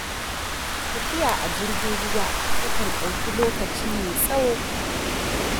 Tafiya a jirgin ruwa ta kan ɗauki lokaci mai tsawo.